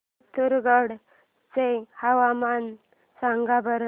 पिथोरगढ चे हवामान सांगा बरं